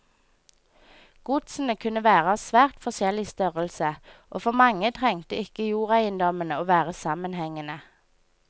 Godsene kunne være av svært forskjellig størrelse, og for mange trengte ikke jordeiendommene å være sammenhengende.